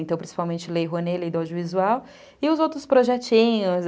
Então, principalmente Lei Rouanet, Lei do Audiovisual e os outros projetinhos.